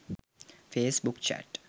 face book chat